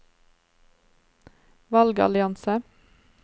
valgallianse